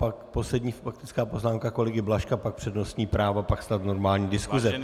Pak poslední faktická poznámka kolegy Blažka, pak přednostní práva, pak snad normální diskuse.